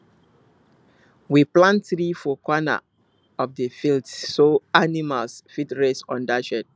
we plant tree for corner of the field so animal fit rest under shade